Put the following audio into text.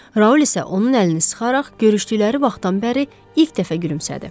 Raul isə onun əlini sıxaraq görüşdükləri vaxtdan bəri ilk dəfə gülümsədi.